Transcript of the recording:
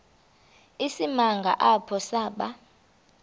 isimanga apho saba